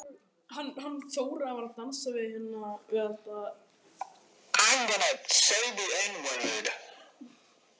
Svartskeggur var þá kaupmaður eftir öllum sólarmerkjum að dæma.